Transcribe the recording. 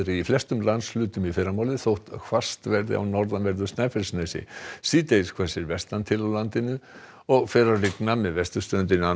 í flestum landshlutum í fyrramálið þótt hvasst verði á norðanverðu Snæfellsnesi síðdegis hvessir vestan til á landinu og fer að rigna með vesturströndinni annað